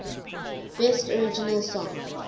best original song